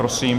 Prosím.